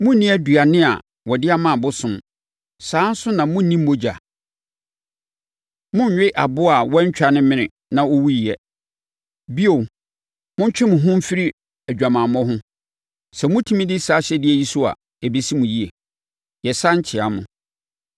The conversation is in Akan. monnni aduane a wɔde ama abosom; saa ara nso na monnni mogya. Monnwe aboa a wɔantwa ne mene na ɔwuiɛ. Bio, montwe mo ho mfiri adwamammɔ ho. Sɛ motumi di saa ahyɛdeɛ yi so a, ɛbɛsi mo yie. Yɛsane kyea mo.